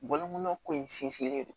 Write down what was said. Bɔlɔnkun ko in sinsinlen don